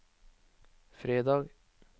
fredag